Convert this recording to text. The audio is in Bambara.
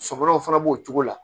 Sɔfɔlɔw fana b'o cogo la